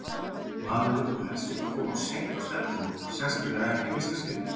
Maður vill nú helst ekki koma of seint á stefnumót, sérstaklega ekki í fyrsta skipti!